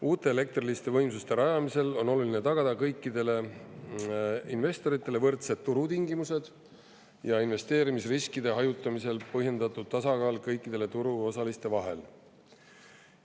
Uute elektriliste võimsuste rajamisel on oluline tagada kõikidele investoritele võrdsed turutingimused ja investeerimisriskide hajutamisel põhjendatud tasakaal kõikide turuosaliste vahel.